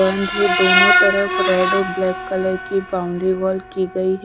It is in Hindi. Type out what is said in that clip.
दोनों तरफ रेड और ब्लैक कलर की बाउंड्री वॉल की गयी है।